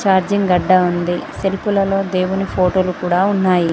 Charging గడ్డ ఉంది shelf లలో దేవుని ఫోటోలు కూడా ఉన్నాయి.